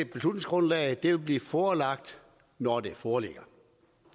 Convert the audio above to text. beslutningsgrundlaget vil blive forelagt når det foreligger